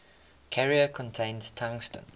carrier contains tungsten